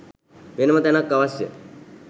වෙනම තැනක් අවශ්‍ය?